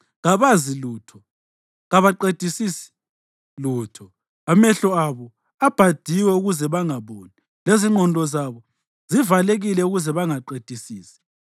Kabazi lutho, kabaqedisisi lutho; amehlo abo abhadiwe ukuze bangaboni lezingqondo zabo zivalekile ukuze bangaqedisisi.